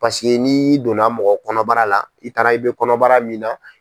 Paseke n'i donna mɔgɔ kɔnɔbara la i taara i bɛ kɔnɔbara min na.